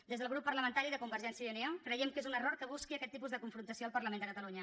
des del grup parlamentari de convergència i unió creiem que és un error que busqui aquest tipus de confrontació al parlament de catalunya